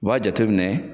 U b'a jateminɛ